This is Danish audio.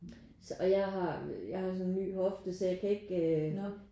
Så og jeg har jeg har så en ny hofte så jeg kan ikke